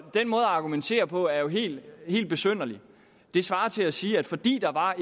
argumentere på er jo helt helt besynderlig det svarer til at sige at fordi der var